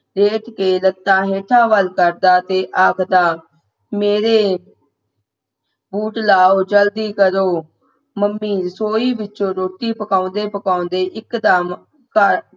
late ਕੇ ਲੱਖਾਂ ਹੇਠਾਂ ਵੱਲ ਕਰਦਾ ਤੇ ਆਖਦਾ ਮੇਰੇ ਬੂਟ ਲਉ ਜਲਦੀ ਕਰੋ ਮੰਮੀ ਰਸੋਈ ਵਿਚੋਂ ਰੋਟੀ ਪਕਾਉਂਦੇ ਪਕਾਉਂਦੇ ਇੱਕ ਦਮ ਕਮ